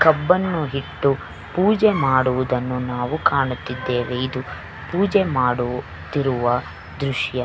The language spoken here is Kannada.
ಕಬ್ಬನ್ನು ಹಿಟ್ಟು ಪೂಜೆ ಮಾಡುವುದನ್ನು ನಾವು ಕಾಣುತ್ತಿದ್ದೇವೆ ಇದು ಪೂಜೆ ಮಾಡುತ್ತಿರುವ ದ್ರಶ್ಯ.